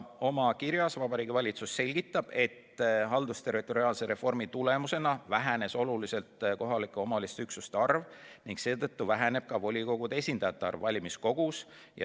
Oma kirjas selgitab Vabariigi Valitsus, et haldusterritoriaalse reformi tulemusena vähenes oluliselt kohaliku omavalitsuse üksuste arv ning seetõttu väheneb ka volikogude esindajate arv valimiskogus.